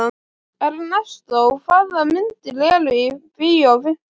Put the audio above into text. Ernestó, hvaða myndir eru í bíó á fimmtudaginn?